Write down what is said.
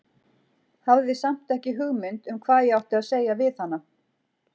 Hafði samt ekki hugmynd um hvað ég átti að segja við hana.